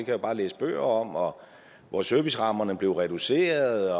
jeg bare læse bøger om og hvor servicerammerne blev reduceret